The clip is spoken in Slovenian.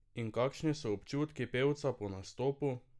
In kakšni so občutki pevca po nastopu?